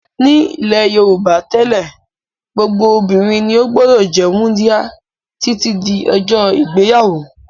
Nílẹ̀ Yorùbá tẹ́lẹ̀ gbogbo obìnrin ni ó gbọ́dọ̀ jẹ́ wúńdíá títí di ọjọ́ ìgbéyàwó.